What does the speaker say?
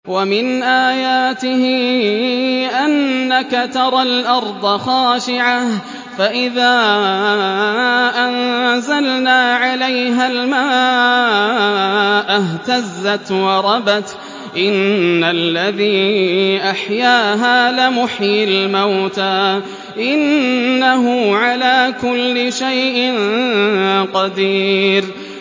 وَمِنْ آيَاتِهِ أَنَّكَ تَرَى الْأَرْضَ خَاشِعَةً فَإِذَا أَنزَلْنَا عَلَيْهَا الْمَاءَ اهْتَزَّتْ وَرَبَتْ ۚ إِنَّ الَّذِي أَحْيَاهَا لَمُحْيِي الْمَوْتَىٰ ۚ إِنَّهُ عَلَىٰ كُلِّ شَيْءٍ قَدِيرٌ